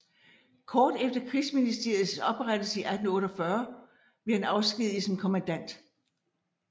Kort efter Krigsministeriets oprettelse 1848 blev han afskediget som kommandant